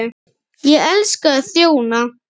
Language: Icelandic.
Ég elska að þjóna.